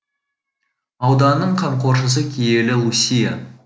ауданның қамқоршысы киелі лусия